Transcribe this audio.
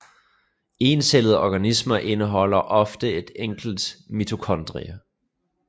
Encellede organismer indeholder ofte ét enkelt mitokondrie